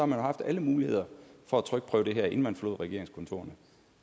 man haft alle muligheder for at trykprøve det her inden man forlod regeringskontorerne